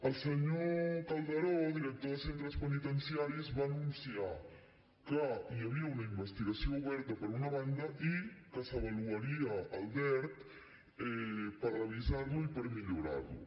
el senyor calderó director de centres penitenciaris va anunciar que hi havia una investigació oberta per una banda i que s’avaluaria el dert per revisar lo i per millorar lo